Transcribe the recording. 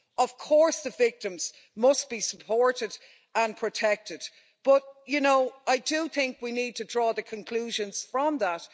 Of course the victims must be supported and protected. But, you know, I do think we need to draw the conclusions from that.